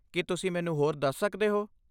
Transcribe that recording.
ਕੀ ਤੁਸੀਂ ਮੈਨੂੰ ਹੋਰ ਦੱਸ ਸਕਦੇ ਹੋ?